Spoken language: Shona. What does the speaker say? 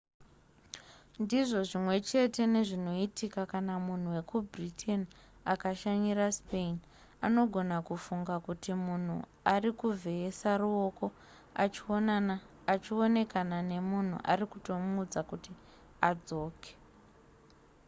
ndizvo zvimwe chete nezvinoitika kana munhu wekubritain akashanyira spain anogona kufunga kuti munhu ari kuvheyesa ruoko achionekana nemunhu ari kutomuudza kuti adzoke